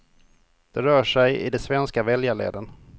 Det rör sig i de svenska väljarleden.